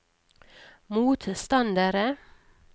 motstandere